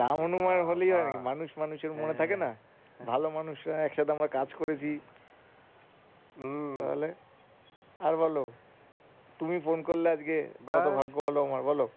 রাম হনুমান হলেই হয় নাকি মানুষ মানুষের মনে থাকেনা ভালো মানুষ একসাথে আমরা কাজ করেছি তাহলে আর বল তুমি ফোন করলে আজকেকত ভাগ্য ভালো আমার বল